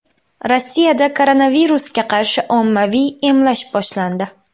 Rossiyada koronavirusga qarshi ommaviy emlash boshlandi.